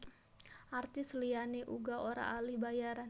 Artis liyané uga ora olih bayaran